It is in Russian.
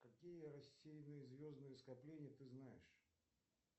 какие рассеянные звездные скопления ты знаешь